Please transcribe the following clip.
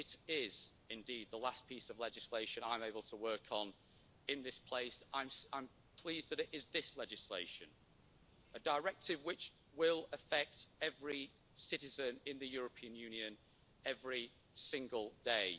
If it is indeed the last piece of legislation I'm able to work on in this place, I'm pleased that it is this legislation a directive which will affect every citizen in the European Union every single day.